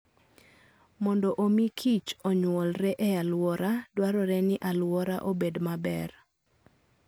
Mondo omi kich onyuolre e alwora dwarore ni alwora obed maber.